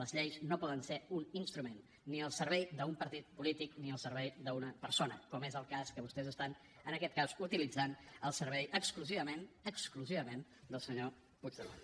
les lleis no poden ser un instrument ni al servei d’un partit polític ni al servei d’una persona com és el cas que vostès estan en aquest cas utilitzant al servei exclusivament exclusivament del senyor puigdemont